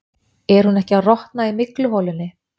Er hún ekki að rotna í mygluholunni?